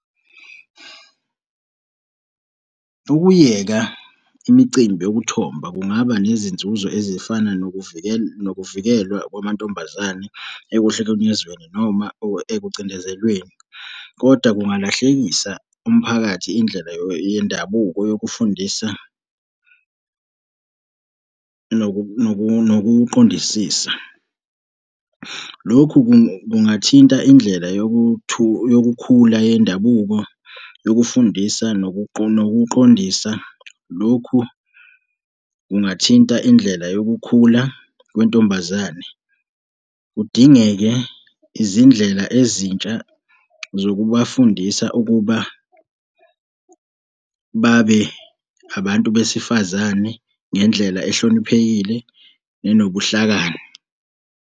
Ukuyeka imicimbi yokuthomba kungaba nezinzuzo ezifana nokuvikelwa kwamantombazane ekuhlukunyezweni, noma ekucindezelweni kodwa kungalahlekisa umphakathi indlela yendabuko yokufundisa nokuqondisisa. Lokhu kungathinta indlela yokukhula yendabuko, yokufundisa nokufundisa, nokuqondisa. Lokhu kungathinta indlela yokukhula kwentombazane. Kudingeke izindlela ezintsha zokubafundisa ukuba babe abantu besifazane ngendlela ehloniphekile nenobuhlakani.